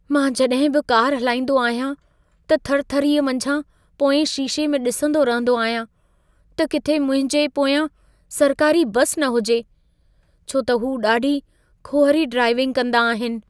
मां जॾहिं बि कार हलाईंदो आहियां, त थरथरीअ मंझां पोएं शीशे में ॾिसंदो रहंदो आहियां, त किथे मुंहिंजे पोयां सरकारी बस न हुजे। छो त हू ॾाढी खुहरी ड्राइविंग कंदा आहिनि।